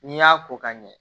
N'i y'a ko ka ɲɛ